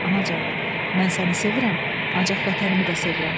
Anacan, mən səni sevirəm, ancaq Vətənimi də sevirəm.